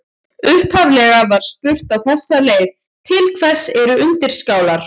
Upphaflega var spurt á þessa leið: Til hvers eru undirskálar?